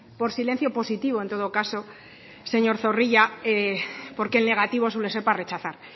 por silencio positivo en todo caso señor zorrilla porque el negativo suele ser para rechazar